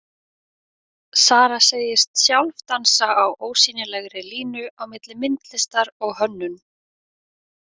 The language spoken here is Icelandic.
Sara segist sjálf dansa á ósýnilegri línu á milli myndlistar og hönnun.